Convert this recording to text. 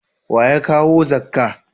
Wa ya kawo zakka